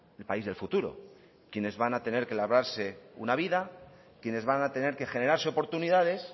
el país del futuro quienes van a tener que labrarse una vida quienes van a tener que generarse oportunidades